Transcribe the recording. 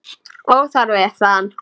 Óþarfi, sagði hann.